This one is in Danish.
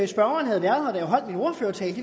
spørgeren havde været her holdt min ordførertale